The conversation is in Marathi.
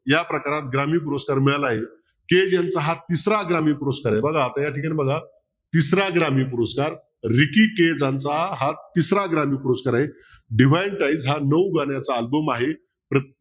या प्रकारात ग्रामीण पुरस्कार मिळालाय हा तिसरा ग्रामीण पुरस्कार आहे बघा आता या ठिकाणी बघा तिसरा ग्रामीण पुरस्कार हा तिसरा ग्रामीण पुरस्कार आहे हा नऊ गाण्यांचा album आहे